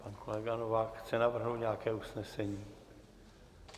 Pan kolega Novák chce navrhnout nějaké usnesení?